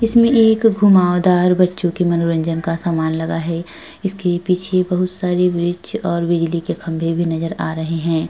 इसमें एक घुमावदार बच्चों की मनोरंजन का सामान लगा है। इसके पीछे बहुत सारी वृक्ष और बिजली के खंभे भी नजर आ रहे हैं।